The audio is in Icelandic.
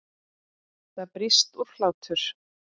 Það brýst út hlátur.